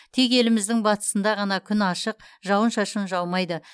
тек еліміздің батысында ғана күн ашық жауын шашын жаумайды